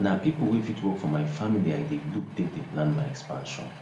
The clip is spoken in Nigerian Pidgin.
na people wey fit work for my family i dey look take dey plan my expansion